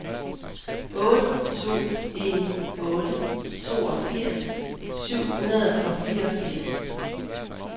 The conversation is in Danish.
otte to en otte toogfirs syv hundrede og fireogfirs